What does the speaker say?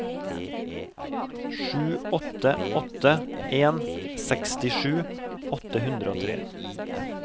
sju åtte åtte en sekstisju åtte hundre og tre